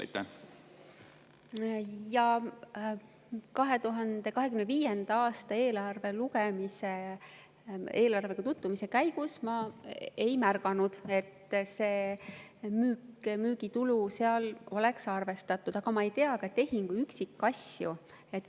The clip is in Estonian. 2025. aasta eelarvega tutvumise käigus ma ei märganud, et seda müügitulu oleks seal arvestatud, aga ma ei tea ka tehingu üksikasju.